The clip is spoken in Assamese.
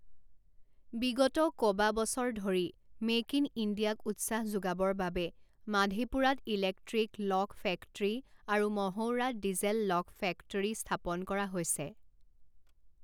বিগত কবাবছৰ ধৰি মেক ইন ইণ্ডিয়াক উৎসাহ যোগাবৰ বাবে মাধেপুৰাত ইলেক্ট্ৰিক ল ক ফেক্টৰী আৰু মঢ়ৌৰাত ডিজেল ল ক ফেক্টৰী স্থাপন কৰা হৈছে।